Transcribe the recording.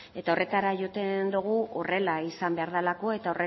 eta horretara jotzen dugu horrela izan behar delako eta